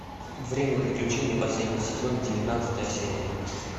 время приключений последний сезон девятнадцатая серия